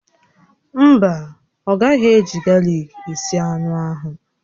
Mba, ọ gaghị eji galik esi anụ ahụ